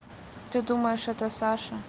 ты думаешь это саша